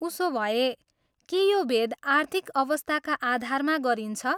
उसोभए, के यो भेद आर्थिक अवस्थाका आधारमा गरिन्छ?